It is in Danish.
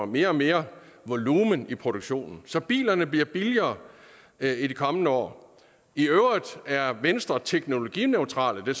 mere og mere volumen i produktionen så bilerne bliver billigere i de kommende år i øvrigt er venstre teknologineutrale det